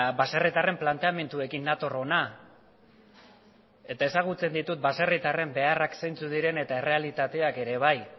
baserritarren planteamenduekin nator hona eta ezagutzen ditut baserritarren beharrak zeintzuk diren eta errealitateak ere bai